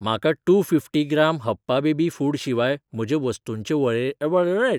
म्हाका two fifty gram हप्पा baby food शिवाय म्हजे वस्तूंचे वळेरेंत झिरो पाँयट फायव्ह आय रिन अला फॅब्रिक व्हाईटनर घालपाक जाय.